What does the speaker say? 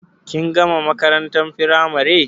Kin gama makarantar firamare